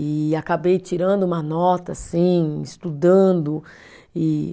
E acabei tirando uma nota, assim, estudando, e